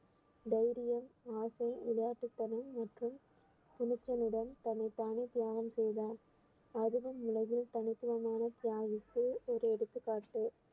தைரியம் ஆசை விளையாட்டுத்தனம் மற்றும் துணிச்சலுடன் தன்னைத்தானே தியாகம் செய்தார் அதுவும் உலகில் தனித்துவமான தியாகிக்கு ஒரு எடுத்துக்காட்டு